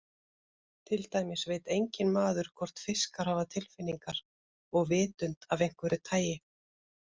Til dæmis veit enginn maður hvort fiskar hafa tilfinningar og vitund af einhverju tagi.